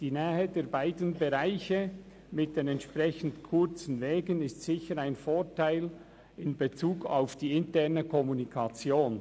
Die Nähe der beiden Bereiche mit den entsprechend kurzen Wegen ist sicher ein Vorteil in Bezug auf die interne Kommunikation.